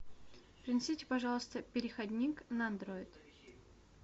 принесите пожалуйста переходник на андроид